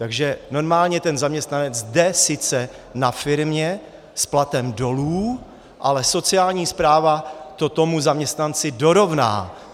Takže normálně ten zaměstnanec jde sice na firmě s platem dolů, ale sociální správa to tomu zaměstnanci dorovná.